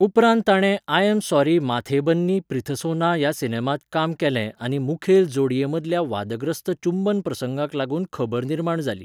उपरांत ताणें I am sorry Mathe Banni Preethsona ह्या सिनेमांत काम केलें आनी मुखेल जोडये मदल्या वादग्रस्त चुंबन प्रसंगाक लागून खबर निर्माण जाली.